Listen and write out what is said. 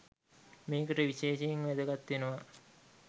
මේකට විශේෂයෙන් වැදගත් වෙනවා